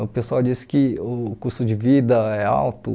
O pessoal diz que o custo de vida é alto.